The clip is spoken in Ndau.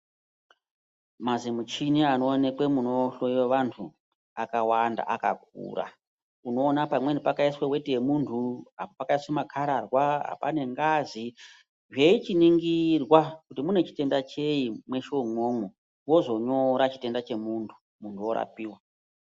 Mazimuchini anoonekwe munohloiwe vantu akawanda, akakura. Unoona pamweni pakaiswe weti yemuntu, apo pakaiswe makhararwa, apa pane ngazi, zveichiningirwa kuti mune chitenda chei mweshe umwomwo vozonyora chitenda chemuntu, muntu orapiwa.